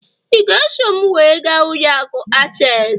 ị ga-eso m wee gaa ụlọ akụ access?